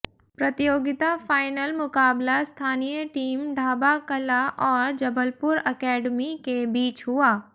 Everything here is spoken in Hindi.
प्रतियोगिता फाइनल मुकाबला स्थानीय टीम ढ़ाबा कला और जबलपुर एकेडमी के बीच हुआ